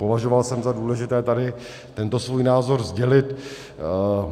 Považoval jsem za důležité tady tento svůj názor sdělit.